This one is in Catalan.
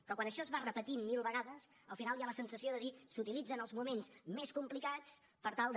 però quan això es va repetint mil vegades al final hi ha la sensació de dir s’utilitzen els moments més complicats per tal de